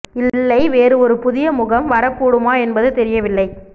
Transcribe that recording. இல்லை வேறு ஒரு புதிய முகம் வரக்கூடுமா என்பது தெரியவில்லை